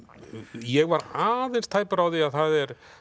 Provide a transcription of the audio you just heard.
ég var aðeins tæpur á því að það eru